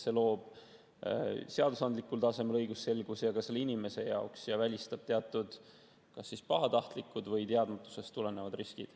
See loob seadusandlikul tasemel õigusselguse ka selle inimese jaoks ja välistab teatud kas pahatahtlikud või teadmatusest tulenevad riskid.